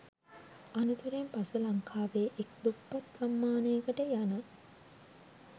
අනතුරෙන් පසු ලංකාවේ එක් දුප්පත් ගම්මානයකට යන